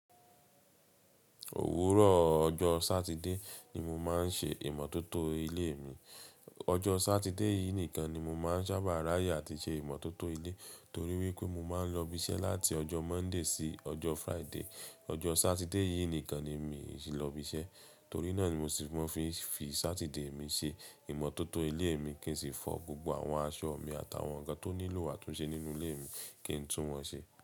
Òwúrọ̀ ọjọ́ Sátidé ni mo máa ń ṣe ìmọ́tótó ilé mi. Ọjọ́ Sátidé yìí nìkan ni mo máa ń sábà ráyè àti ṣe ìmọ́tótó ilé torí wípé mo máa ń lọ ibi iṣẹ́ láti ọjọ́ Monday sí ọjọ́ Friday. Ọjọ́ Sátidé yìí nìkan ni mi ò sí lọ ibi iṣẹ́. Torí náà ni mo sì máa ń fi Sátidé mi ṣe ìmọ́tótó ilé mi kí n sì fọ gbogbo àwọn aṣọ mi àti àwọn ǹkan tó nílò àtúnṣe nínú ilé mi kí n tún wọn ṣe.